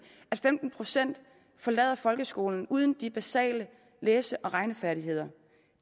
at femten procent forlader folkeskolen uden de basale læse og regnefærdigheder